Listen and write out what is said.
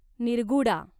Nirguda